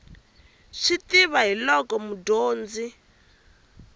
swi tiva hi loko mudyondzi